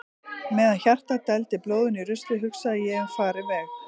Meðan hjartað dældi blóðinu í ruslið hugsaði ég um farinn veg.